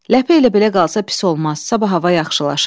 Ləpə elə belə qalsa pis olmaz, sabah hava yaxşılaşar.